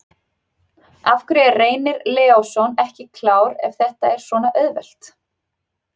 Af hverju er Reynir Leósson ekki klár ef þetta er svona auðvelt?